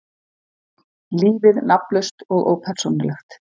Lífið nafnlaust og ópersónulegt.